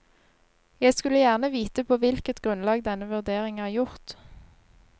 Jeg skulle gjerne vite på hvilket grunnlag denne vurdering er gjort.